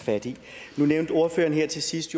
fat i nu nævnte ordføreren her til sidst